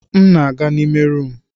M na-aga n'ime rumụ.